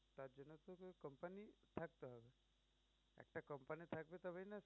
থাকবে তবেই না